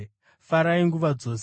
Farai nguva dzose;